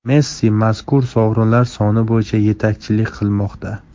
Messi mazkur sovrinlar soni bo‘yicha yetakchilik qilmoqda.